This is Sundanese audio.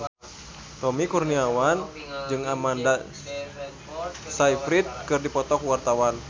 Tommy Kurniawan jeung Amanda Sayfried keur dipoto ku wartawan